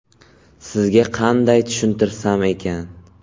Sizga qanday tushuntirsam ekan?